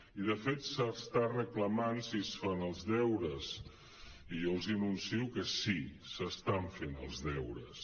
i de fet s’està re·clamant si es fan els deures i jo els anuncio que sí s’estan fent els deures